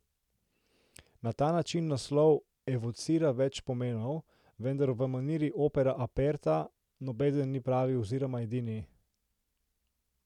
Na ta način naslov evocira več pomenov, vendar v maniri opera aperta nobeden ni pravi oziroma edini.